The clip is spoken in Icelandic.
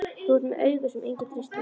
Þú ert með augu sem enginn treystir.